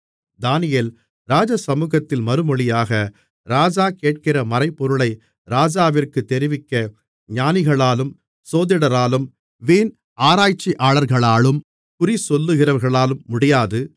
தானியேல் ராஜசமுகத்தில் மறுமொழியாக ராஜா கேட்கிற மறைபொருளை ராஜாவிற்குத் தெரிவிக்க ஞானிகளாலும் சோதிடராலும் விண் ஆராய்ச்சியாளர்களாலும் குறிசொல்லுகிறவர்களாலும் முடியாது